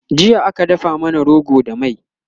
jiya aka dafa mana rogo da mai